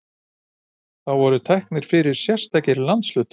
Þá voru teknir fyrir sérstakir landshlutar.